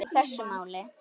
í þessu máli.